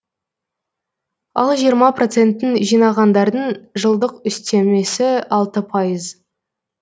ал жиырма процентін жинағандардың жылдық үстемесі алты пайыз